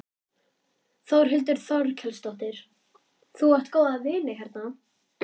Þórhildur Þorkelsdóttir: Þú átt góða vini hérna?